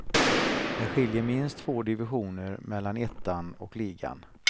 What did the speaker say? Det skiljer minst två divisioner mellan ettan och ligan.